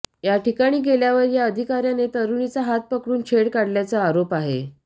याठिकाणी गेल्यावर या अधिकाऱ्याने तरुणीचा हात पकडून छेड काढल्याचा आरोप आहे